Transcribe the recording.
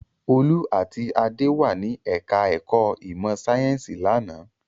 Olú àti Adé wà ní ẹ̀ka-ẹ̀kọ́ ìmọ̀-sáyẹ́ńsì lánàá.